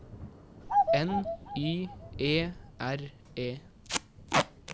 N Y E R E